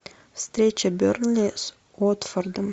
встреча бернли с уотфордом